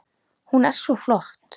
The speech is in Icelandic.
Hún er svo flott!